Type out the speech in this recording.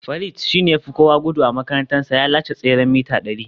Farid shi ne ya fi gudu a makarantarsa, ya lashe tseren mita dari